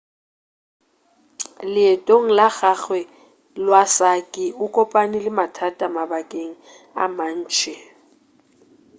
leetong la gagwe iwasaki o kopane le mathata mabakeng a mantši